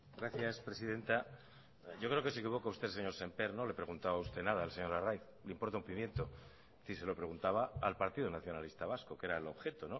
gracias presidenta yo creo que se equivoca usted señor sémper no le ha preguntado a usted nada al señor arraiz le importa un pimiento se lo preguntaba al partido nacionalista vasco que era el objeto